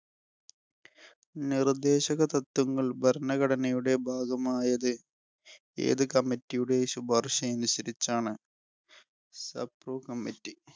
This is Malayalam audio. നിർദേശകതത്വങ്ങൾ ഭരണഘടനയുടെ ഭാഗമായത് ഏത് committee ഉടെ ശുപാർശ അനുസരിച്ചാണ്? committe.